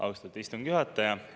Austatud istungi juhataja!